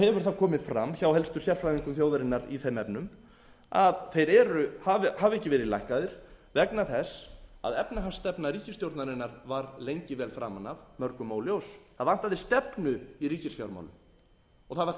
hefur það komið fram hjá helstu sérfræðingum þjóðarinnar í þeim efnum að þeir hafi ekki verið lækkaðir vegna þess að efnahagsstefna ríkisstjórnarinnar var lengi vel framan af mörgum óljós það vantaði stefnu í ríkisfjármálin og það var